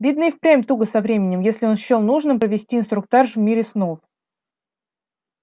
видно и впрямь туго со временем если он счёл нужным провести инструктаж в мире снов